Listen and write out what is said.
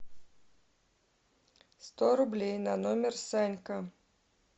сто рублей на номер санька